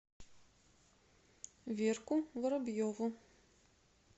верку воробьеву